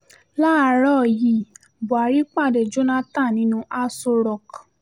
láàárọ̀ yìí buhari pàdé jonathan nínú aso rock